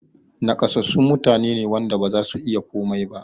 Naƙasassu mutane ne wanda bazasu iya komai ba